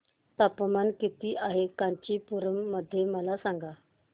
तापमान किती आहे कांचीपुरम मध्ये मला सांगा